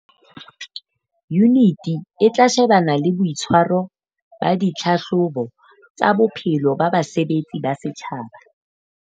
Yuniti e tla shebana le boitshwaro ba ditlhahlobo tsa bophelo ba basebetsi ba setjhaba.